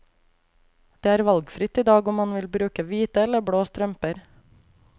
Det er valgfritt i dag om man vil bruke hvite eller blå strømper.